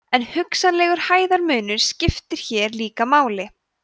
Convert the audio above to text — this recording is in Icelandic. en hugsanlegur hæðarmunur skiptir hér líka máli